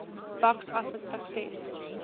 box office success